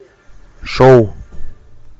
шоу